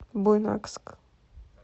буйнакск